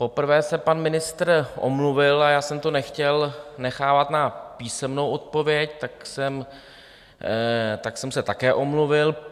Poprvé se pan ministr omluvil a já jsem to nechtěl nechávat na písemnou odpověď, tak jsem se také omluvil.